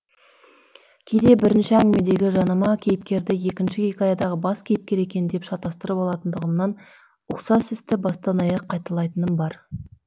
кейде бірінші әңгімедегі жанама кейіпкерді екінші хикаядағы бас кейіпкер екен деп шатастырып алатындығымнан ұқсас істі бастан аяқ қайталайтыным бар